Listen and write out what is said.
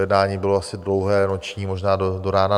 Jednání bylo asi dlouhé, noční, možná do rána.